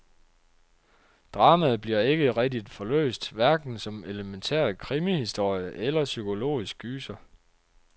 Dramaet bliver ikke rigtig forløst, hverken som elementær krimihistorie eller psykologisk gyser.